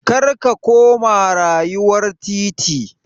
Kar a koma rayuwar titi!